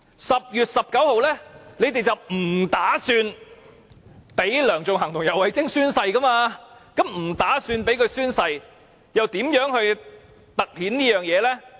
10月19日，他們計劃不讓梁頌恆及游蕙禎宣誓，既然計劃不讓他們宣誓，又如何突顯這一點？